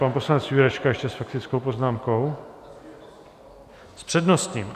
Pan poslanec Jurečka ještě s faktickou poznámkou - s přednostním?